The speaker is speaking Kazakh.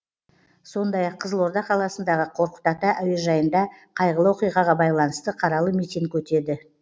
сондай ақ қызылорда қаласындағы қорқыт ата әуежайында қайғылы оқиғаға байланысты қаралы митинг өтеді